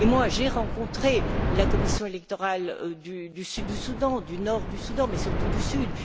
J'ai rencontré la commission électorale du Sud du Soudan, du Nord du Soudan, mais surtout du Sud.